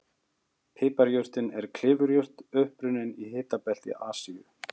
Piparjurtin er klifurjurt upprunnin í hitabelti Asíu.